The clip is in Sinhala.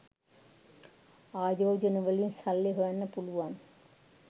ආයෝජනවලින් සල්ලි හොයන්න පුලුවන්